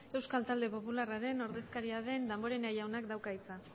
euskal talde popularraren ordezkaria den damborenea jaunak dauka hitza